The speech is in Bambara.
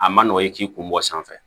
A ma nɔgɔn i k'i kun bɔ sanfɛ